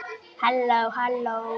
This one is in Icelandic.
Ég leit niður.